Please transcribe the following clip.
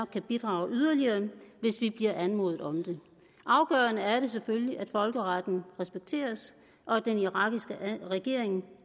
kan bidrage yderligere hvis vi bliver anmodet om det afgørende er det selvfølgelig at folkeretten respekteres og at den irakiske regering